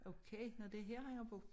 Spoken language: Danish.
Okay nåh det her han har boet